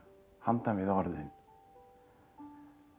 handan við orðin